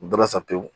U bɛɛ la sa pewu